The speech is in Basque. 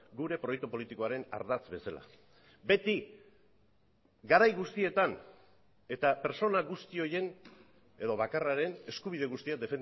gure proiektu politikoaren ardatz bezala beti garai guztietan eta pertsona guzti horien edo bakarraren eskubide guztiak